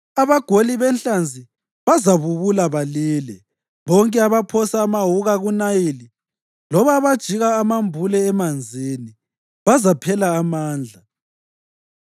Abagoli benhlanzi bazabubula balile, bonke abaphosa amawuka kuNayili, loba abajika amambule emanzini bazaphela amandla.